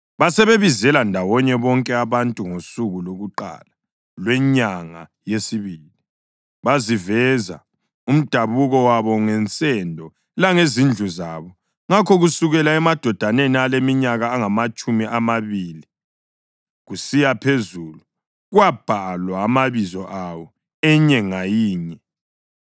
basebebizela ndawonye bonke abantu ngosuku lwakuqala lwenyanga yesibili. Baziveza umdabuko wabo ngensendo langezindlu zabo, ngakho kusukela emadodeni aleminyaka engamatshumi amabili kusiya phezulu kwabhalwa amabizo awo, inye ngayinye,